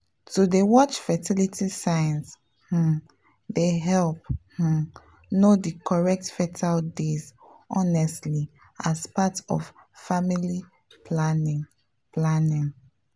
to dey watch fertility signs um dey help um know the correct fertile days honestly as part of family planning. planning.